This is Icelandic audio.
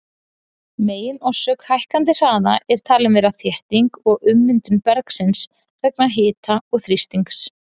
Meginorsök hækkandi hraða er talin vera þétting og ummyndun bergsins vegna hita og þrýstings.